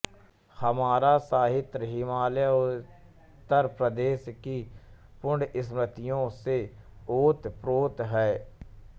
हमारा साहित्य हिमालयोत्तर प्रदेश की पुण्यस्मृतियों से ओतप्रोत है